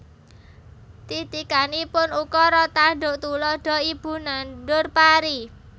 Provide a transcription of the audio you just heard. Titikanipun Ukara tanduk tuladha Ibu nandur pari